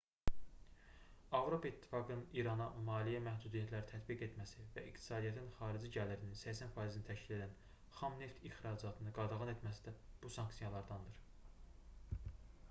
avropa i̇ttifaqının i̇rana maliyyə məhdudiyyətləri tətbiq etməsi və iqtisadiyyatının xarici gəlirinin 80%-ni təşkil edən xam neft ixracatını qadağan etməsi də bu sanksiyalardandır